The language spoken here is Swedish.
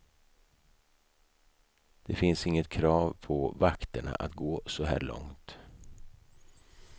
Det finns inget krav på vakterna att gå så här långt.